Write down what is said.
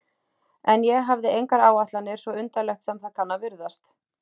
En ég hafði engar áætlanir, svo undarlegt sem það kann að virðast.